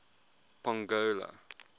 pongola